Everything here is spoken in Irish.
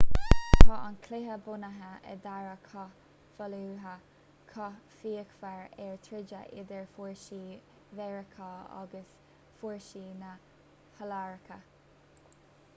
tá an cluiche bunaithe ar dhara cath fallujah cath fíochmhar a troideadh idir fórsaí mheiriceá agus fórsaí na hiaráice